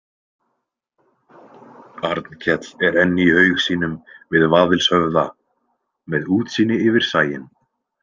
Arnkell er enn í haug sínum við Vaðilshöfða, með útsýni yfir sæinn.